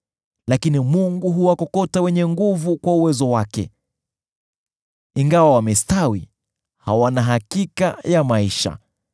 Lakini Mungu huwakokota wenye nguvu kwa uwezo wake; ingawa wamestawi, hawana hakika ya maisha.